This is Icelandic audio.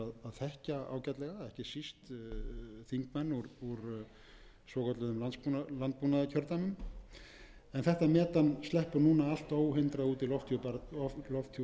þekkja ágætlega ekki síst þingmenn úr svokölluðum landbúnaðarkjördæmum en þetta metan sleppur núna allt óhindrað út í lofthjúp jarðar þannig að hér er sem sé um í raun og veru tvöfaldan